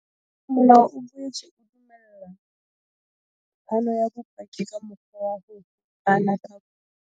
Molao o boetse o dumella phano ya bopaki ka mokgwa wa ho hokahana ka video.